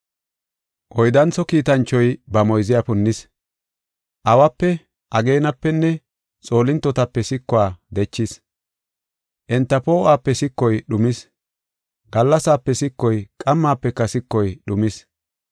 Oyddantho kiitanchoy ba moyziya punnis. Awape, ageenapenne xoolintotape sikuwa dechis; enta poo7uwape sikoy dhumis. Gallasaape sikoy, qammaafeka sikoy dhumis.